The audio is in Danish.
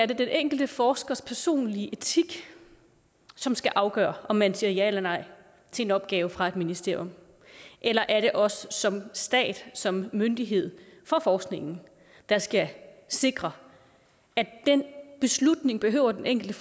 den enkelte forskers personlige etik som skal afgøre om man siger ja eller nej til en opgave fra et ministerium eller er det os som stat som myndighed for forskningen der skal sikre at den beslutning behøver den enkelte